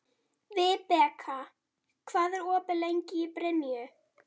Vibeka, hvað er opið lengi í Brynju?